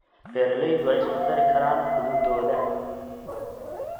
Beeraleydu way isku dari karaan cududooda.